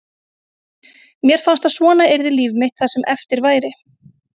Mér fannst að svona yrði líf mitt það sem eftir væri.